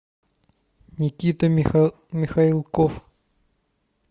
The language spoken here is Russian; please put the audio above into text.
никита михалков